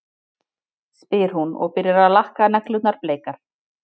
spyr hún og byrjar að lakka neglurnar bleikar.